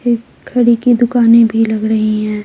ये खड़ी की दुकानें भी लग रही हैं।